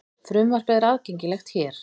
Frumvarpið er aðgengilegt hér